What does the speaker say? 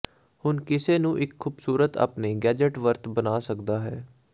ਹੁਣ ਕਿਸੇ ਨੂੰ ਇਕ ਖੂਬਸੂਰਤ ਆਪਣੇ ਗੈਜ਼ਟ ਵਰਤ ਬਣਾ ਸਕਦਾ ਹੈ